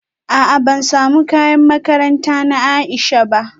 A'a ban samu kayan makaranta na Aisha ba